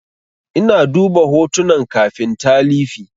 Ina duba hotunan kafin talifi.